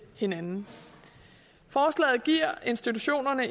hinanden forslaget giver institutioner